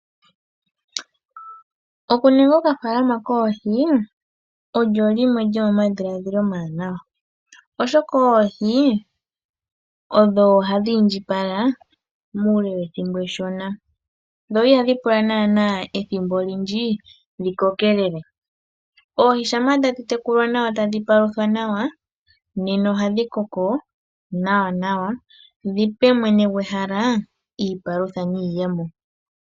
Okuninga oka faalama koohi olyo limwe lyomoma dhila dhilo omawanawa, oshoka oohi odho hadhi indjipala muule wethimbo eshona, dho ihadhi pula naana ethimbo olindji dhikokelele oohi shampa dhatekulwa nawa etadhi paluthwa nawa nena ohadhi koko nawa nawa dhipe mwene gwehala iipalutha niiyemo.